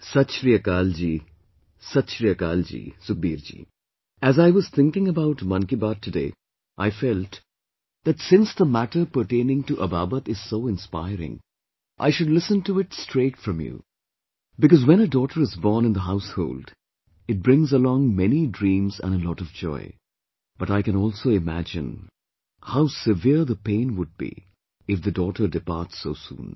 Sat Shri Akal ji, Sat Shri Akal ji, Sukhbir ji, as I was thinking about 'Mann Ki Baat' today, I felt that since the matter pertaining to Ababat is so inspiring, I should listen to it straight from you, because when a daughter is born in the household, it brings along many dreams and a lot of joy... but I can also imagine how severe the pain would be if the daughter departs so soon